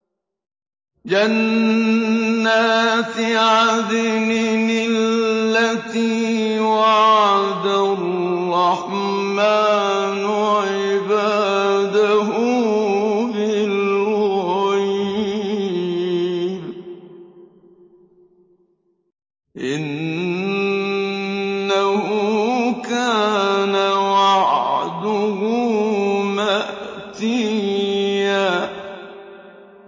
جَنَّاتِ عَدْنٍ الَّتِي وَعَدَ الرَّحْمَٰنُ عِبَادَهُ بِالْغَيْبِ ۚ إِنَّهُ كَانَ وَعْدُهُ مَأْتِيًّا